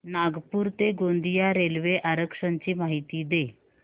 नागपूर ते गोंदिया रेल्वे आरक्षण ची माहिती दे